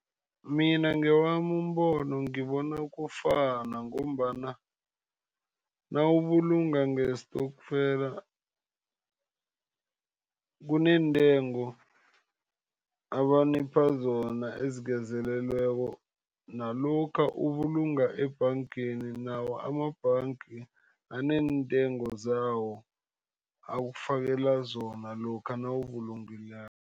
Mina ngowami umbono, ngibona kufana. Ngombana nawubulunga ngestokfela kuneentengo abanipha zona ezingezelelweko, nalokha ubulunga ebhangeni, nawo amabhanga aneentengo zawo akufakela zona lokha nawubulungileko.